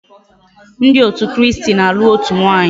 Ndi otu kristi n'alu otu nwaanyi